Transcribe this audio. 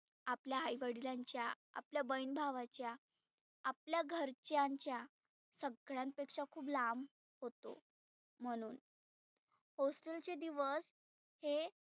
आपल्या आई वडिलांच्या आपल्या बहिन भावाच्या आपल्या घरच्यांच्या सगळ्यां पेक्षा खुप लांब होतो म्हणुन hostel चे दिवस हे